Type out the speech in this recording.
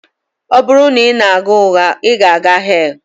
Ọ bụrụ na ị na-agha ụgha, ị na-aga hell